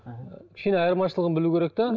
мхм кішкене айырмашылығын білу керек те